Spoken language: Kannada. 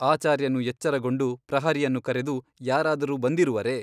ಆಚಾರ್ಯನು ಎಚ್ಚರಗೊಂಡು ಪ್ರಹರಿಯನ್ನು ಕರೆದು ಯಾರಾದರೂ ಬಂದಿರುವರೆ ?